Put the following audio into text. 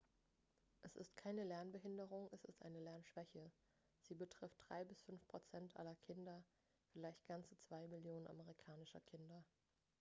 "es ist keine lernbehinderung es ist eine lernschwäche; sie "betrifft 3 bis 5 prozent aller kinder vielleicht ganze 2 millionen amerikanischer kinder"".